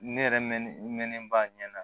Ne yɛrɛ mɛnnen ba ɲɛna